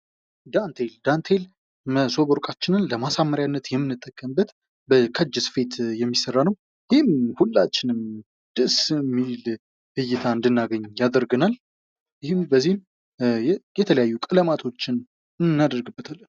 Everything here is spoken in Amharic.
ዳንቴል መሶበወርቃችንን ለማሳመር የሚንጠቀምበት ከእጅ ስፌት የሚሰራ ነው። ይህም ሁላችንም ደስ የሚል እይታ እንድናገኝ ያደርገናል ፤ ይህም በዚህም የተለያዩ ቀለማቶችን እናደርግበታለን።